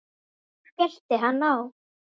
Svo skellti hann á.